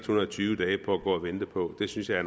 hundrede og tyve dage på at gå og vente på det synes jeg